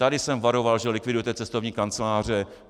Tady jsem varoval, že likvidujete cestovní kanceláře.